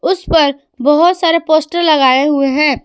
उसपर बहोत सारे पोस्टर लगाए हुए हैं।